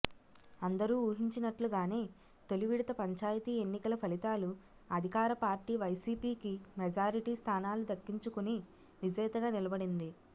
అందరూ ఊహించినట్లుగానే తొలి విడత పంచాయతీ ఎన్నికల ఫలితాలు అధికార పార్టీ వైసీపీకి మెజారిటీ స్థానాలు దక్కించుకుని విజేతగా నిలబడింది